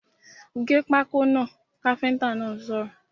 ‘Gé pákó náà’ káfíntà náà sọ̀rọ̀